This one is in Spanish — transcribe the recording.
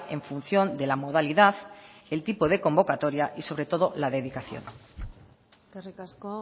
en función de la modalidad el tipo de convocatoria y sobre todo la dedicación eskerrik asko